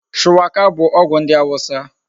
Shuwaka bu ogwu ndi awusa